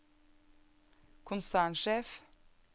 konsernsjef